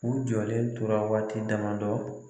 U jɔlen tora waati dama dɔ